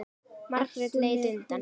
Margrét leit undan.